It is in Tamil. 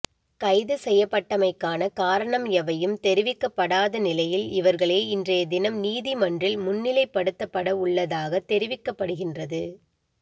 கைது செய்யப்பட்டமைக்கான காரணம் எவையும் தெரிவிக்கப்படாத நிலையில் இவர்களை இன்றைய தினம் நீதிமன்றில் முன்னிலைப்பபடுத்தப்பட உள்ளதாக தெரிவிக்கப்படுகின்றது